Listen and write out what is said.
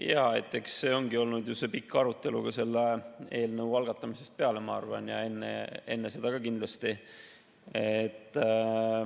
Jaa, eks see ongi olnud pikk arutelu selle eelnõu algatamisest peale, ma arvan, ja kindlasti ka enne seda.